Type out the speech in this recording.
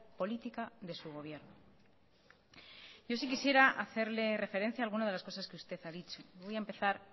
política de su gobierno yo sí quisiera hacerle referencia a alguna de las cosas que usted ha dicho voy a empezar